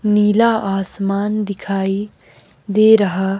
नीला आसमान दिखाई दे रहा--